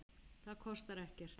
Það kostar ekkert.